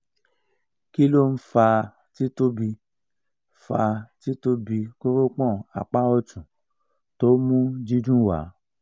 kilo n faa ti tobi faa ti tobi koropon apa otun to mu didun wa